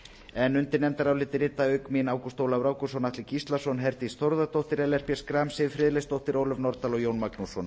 en undir nefndaráliti rituðu auk mín ágúst ólafur ágústsson atli gíslason herdís þórðardóttir ellert b schram siv friðleifsdóttir ólöf nordal og jón magnússon